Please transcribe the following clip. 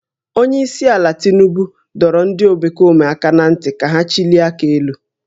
Onye isi ala Tinubu dọrọ ndị omekome aka ná ntị ka ha chịlie aka elu